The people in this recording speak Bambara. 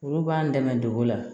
Olu b'an dɛmɛ dogo la